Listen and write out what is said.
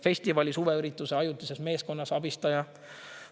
Festivali, suveürituse ajutises meeskonnas abistaja.